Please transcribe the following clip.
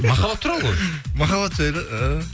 махаббат туралы ғой махаббат жайлы іхі